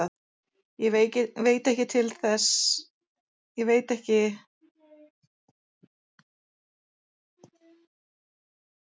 Ég veit ekki til að svo sé.